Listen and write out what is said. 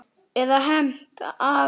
Eða hefnt, sagði Ari.